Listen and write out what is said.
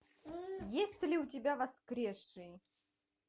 есть ли у тебя воскресший